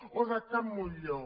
o de can montllor